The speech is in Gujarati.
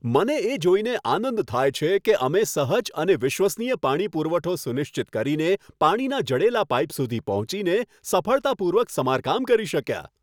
મને એ જોઈને આનંદ થાય છે કે અમે સહજ અને વિશ્વસનીય પાણી પુરવઠો સુનિશ્ચિત કરીને પાણીનાં જડેલા પાઇપ સુધી પહોંચીને સફળતાપૂર્વક સમારકામ કરી શક્યા.